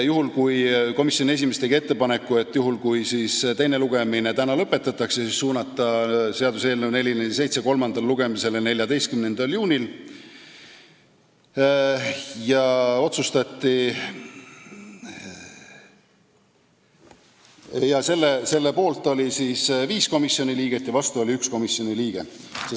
Komisjoni esimees tegi ettepaneku, et juhul, kui teine lugemine täna lõpetatakse, siis suunata seaduseelnõu 447 kolmandale lugemisele 14. juunil, selle poolt oli 5 komisjoni liiget ja vastu oli 1 komisjoni liige.